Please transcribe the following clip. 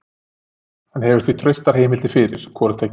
Hann hefur því traustar heimildir fyrir hvoru tveggja.